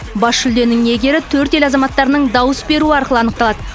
бас жүлденің иегері төрт ел азаматтарының дауыс беруі арқылы анықталады